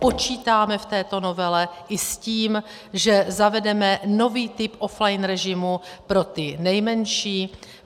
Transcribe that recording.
Počítáme v této novele i s tím, že zavedeme nový typ offline režimu pro ty nejmenší.